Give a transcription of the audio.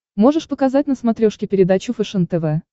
можешь показать на смотрешке передачу фэшен тв